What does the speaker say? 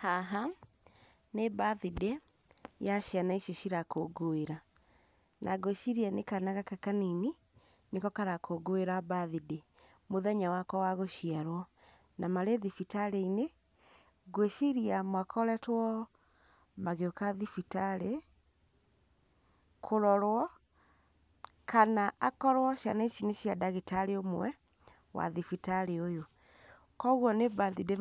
Haha nĩ birthday, ya ciana ici cirakũngũĩra. Na ngwĩciria nĩ kana gaka kanini nĩko karakũngũĩra birthday, mũthenya wako wa gũciarwo. Na marĩ thibitarĩ-inĩ, ngwĩciria makoretwomagĩũka thibitarĩ-inĩ, kũrorwo, kana akorwo ciana ici nĩ cia ndagĩtarĩ ũmwe wa thibitarĩ ũyũ. Koguo nĩ birthday